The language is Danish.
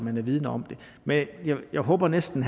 er vidende om det men jeg håber næsten